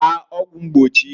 Gbaa ọgwụ mgbochiǃ